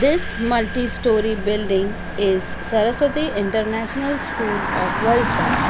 This multI story building is saraswatI international school of valsad.